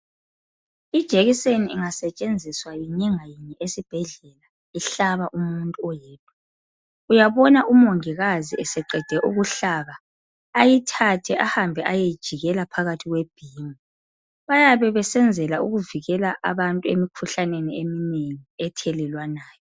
Ijekiseni ingasetshenziswa esibhedlela ihlaba umuntu oyedwa. Uyabona umongikazi eseqede ukuhlaba ayithathe ahambe ayeyijikela phakathi kwebhimu. Bayabe besenzela ukuvikela abantu emikhuhlaneni eminengi ethelelwanayo.